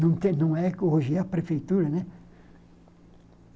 Não é não tem hoje é a prefeitura, né?